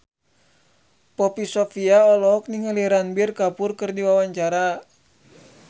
Poppy Sovia olohok ningali Ranbir Kapoor keur diwawancara